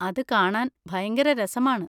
അത് കാണാൻ ഭയങ്കര രസമാണ്.